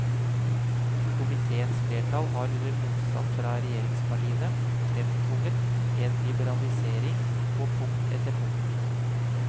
Komitéens flertall har under motstand fra regjeringspartiene fremtvunget en liberalisering på punkt etter punkt.